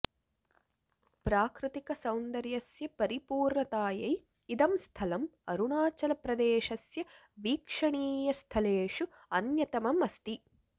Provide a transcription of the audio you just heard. प्राकृतिकसौन्दयस्य परिपूर्णतायै इदं स्थलं अरुणाचलप्रदेशस्य वीक्षणीयस्थलेषु अन्यतमम् अस्ति